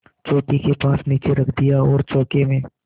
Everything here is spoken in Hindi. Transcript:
चौकी के पास नीचे रख दिया और चौके में